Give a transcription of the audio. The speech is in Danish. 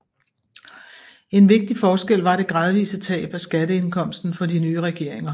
En vigtig forskel var det gradvise tab af skatteindkomsten for de nye regeringer